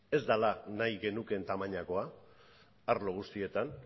ez dela nahi genukeen tamainakoa arlo guztietan